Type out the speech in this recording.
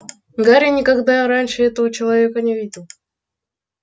гарри никогда раньше этого человека не видел